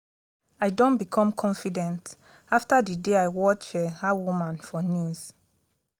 i don become confident after the day i watch dat woman for news